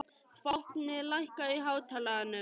Fáfnir, lækkaðu í hátalaranum.